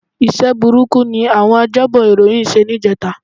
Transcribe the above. Iṣẹ́ burúkú ni àwọn ajábọ̀ ìròyìn ṣe ní ìjẹta